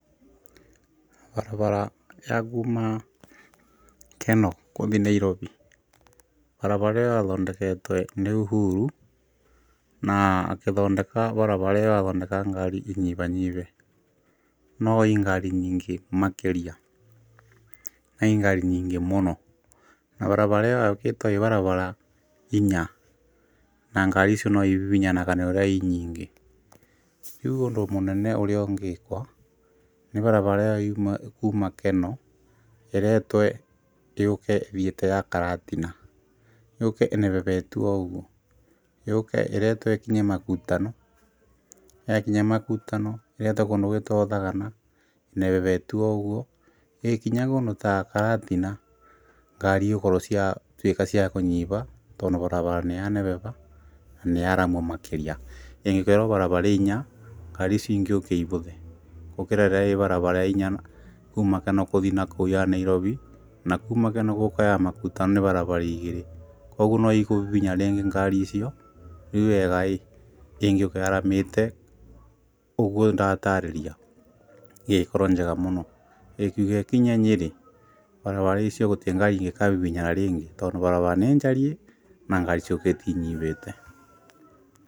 Barabara ya kuma Kenol kũthiĩ Nairobi, barabara ĩyo yathondeketwe nĩ Uhuru, na akĩthondeka barabara ĩyo athondekaga ngari inyibanyibe, no ĩ ngari nyingĩ makĩria, na ĩ ngari nyingĩ mũno na barabara ĩyo yakĩtwo i barabara inya na ngari icio no ibibinyanaga nĩ ũrĩa i nyingĩ. Rĩu ũndũ mũnene ũrĩa ungĩkwa nĩ barabara iyo yume kuma Kenol ĩretwe yũke ĩthiĩte ya Karatina, yũke ĩnebebetwe o ũguo yũke ĩretwe ĩkinye Makutano, yakinya Makutano ĩretwe kũndũ gwĩtagwo Thagana ĩnebebetio o ũguo ĩgĩkinya kũndũ ta Karatina ngari igũkorwo ciatuĩka cia kũnyiba, tondũ barabara nĩ ya nebeba na nĩ yarama makĩria ĩngĩkorwo ĩro ya barabara inya ngari icio ingĩũka ĩbũthe gũkĩra rĩrĩa ĩ barabara ĩnya kuma Kenol kũthii na kũu ya Nairobi na kuma Kenol gũka ya Makutano nĩ barabara igĩrĩ, koguo no ikũbibinyana rĩngi ngari icio rĩu wega ĩngĩũka yaramĩte ũguo ndatarĩria ĩngĩkorwo njega mũno ĩkiuga ĩkinye Nyĩri barabara icio gũtĩ ngari ingĩkabibinyana rĩngĩ tondũ barabara nĩ njariĩ na ngari ciũkĩte inyibĩte.